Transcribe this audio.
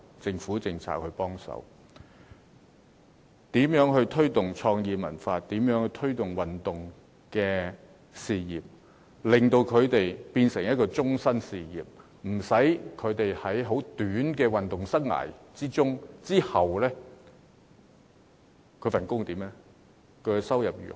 政府應考慮如何推動創意文化和體育運動，令它們變成一種終身事業，使年青人不用在短暫的運動或創作生涯後，擔心工作和收入如何。